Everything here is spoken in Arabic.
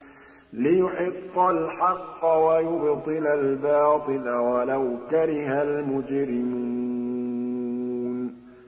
لِيُحِقَّ الْحَقَّ وَيُبْطِلَ الْبَاطِلَ وَلَوْ كَرِهَ الْمُجْرِمُونَ